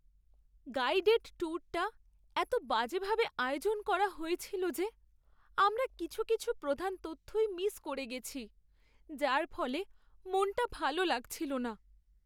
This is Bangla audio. গাইডেড ট্যুরটা এতো বাজেভাবে আয়োজন করা হয়েছিল যে আমরা কিছু কিছু প্রধান তথ্যই মিস করে গেছি, যার ফলে মনটা ভালো লাগছিল না।